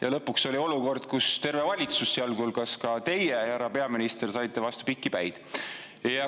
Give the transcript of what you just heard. Ja lõpuks oli olukord, kus terve valitsus, sealhulgas teie, härra peaminister, saite piki päid.